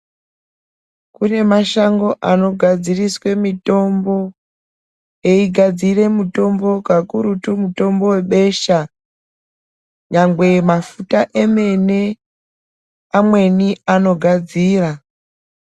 Kune mashango anogadziriswe mutombo eigadzire mutombo kakurutu mutombo webesha nyangwe mafuta emene amweni anogadzira.